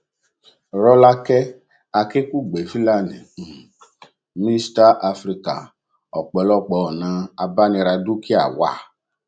rọlákẹ akinkugbe filani um mixta africa ọpọlọpọ ọnà abániradúkìá wà